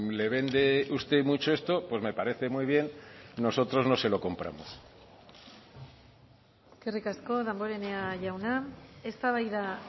le vende usted mucho esto pues me parece muy bien nosotros no se lo compramos eskerrik asko damborenea jauna eztabaida